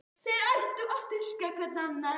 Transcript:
Þeir ættu að styrkja hver annan.